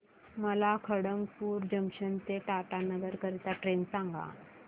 मला खडगपुर जंक्शन ते टाटानगर करीता ट्रेन सांगा